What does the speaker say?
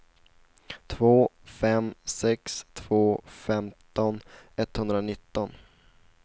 två fem sex två femton etthundranitton